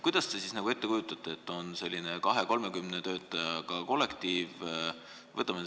Kuidas te seda ette kujutate, kui on selline 20–30 töötajaga kollektiiv?